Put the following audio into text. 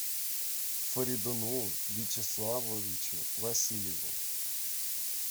фаридуну вячеславовичу васильеву